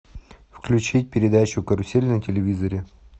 включить передачу карусель на телевизоре